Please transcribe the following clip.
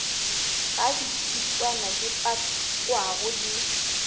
ga ditšhitswana di pakwago di